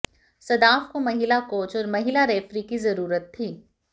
सदाफ को महिला कोच और महिला रेफरी की जरूरत थी